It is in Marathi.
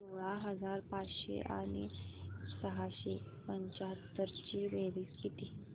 सोळा हजार पाचशे आणि सहाशे पंच्याहत्तर ची बेरीज किती